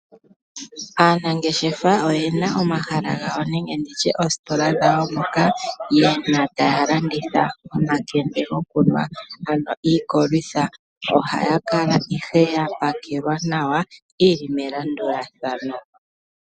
Aanangeshefa oye na omahala gawo nenge oositola dhawo moka ye na taya landitha omakende gokunwa ano iikolwitha . Ohayi kala ihe ya pakelwa nawa yi li melandulathano.